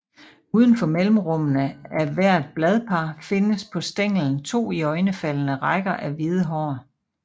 Ud for mellemrummene af hvert bladpar findes på stænglen to iøjnefaldende rækker af hvide hår